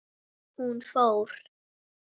Hún fór.